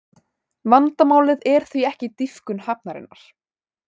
Vandamálið er því ekki dýpkun hafnarinnar